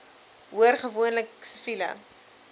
hoor gewoonlik siviele